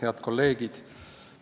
Head kolleegid!